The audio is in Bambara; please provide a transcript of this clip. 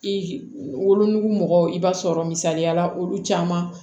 I wolonugu mɔgɔw i b'a sɔrɔ misaliyala olu caman